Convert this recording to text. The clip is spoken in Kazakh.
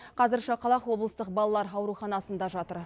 қазір шақалақ облыстық балалар ауруханасында жатыр